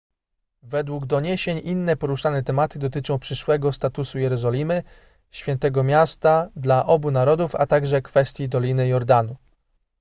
według doniesień inne poruszane tematy dotyczą przyszłego statusu jerozolimy świętego miasta dla obu narodów a także kwestii doliny jordanu